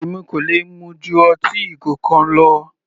Èmi kò lè mu ju ọtí ìgò kan lọ.